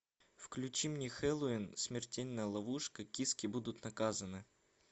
включи мне хэллоуин смертельная ловушка киски будут наказаны